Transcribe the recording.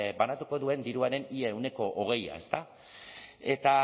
banatuko duen diruaren ia ehuneko hogei ezta eta